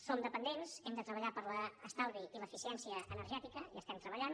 som dependents hem de treballar per l’estalvi i l’eficiència energètica hi estem treballant